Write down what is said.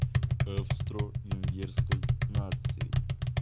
австро-венгерской нации